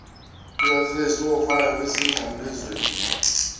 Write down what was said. likakrestu owafayo emnqamlezweni